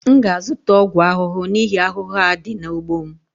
M ga-azụta ọgwụ ahụhụ n'ihi ahụhụ a dị n'ugbo m